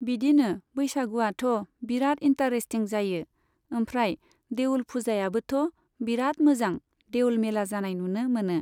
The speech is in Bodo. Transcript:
बिदिनो बैसागुआथ' बिराद इन्टारेस्टिं जायो, ओमफ्राय देउल फुजायावबोथ' बिराद मोजां देउल मेला जानाय नुनो मोनो।